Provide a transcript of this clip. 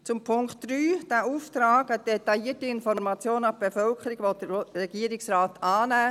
Zum Punkt 3: Diesen Auftrag – eine detaillierte Information an die Bevölkerung – will der Regierungsrat annehmen.